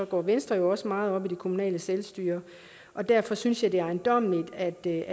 går venstre jo også meget op i det kommunale selvstyre og derfor synes jeg det er ejendommeligt at det er